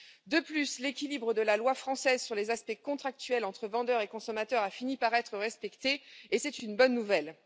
De plus, l'équilibre de la loi française sur les aspects contractuels entre vendeurs et consommateurs a fini par être respecté et c'est une bonne nouvelle.